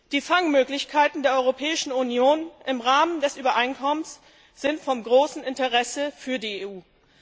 Die Fangmöglichkeiten der Europäischen Union im Rahmen des Übereinkommens sind von großem Interesse für die EU.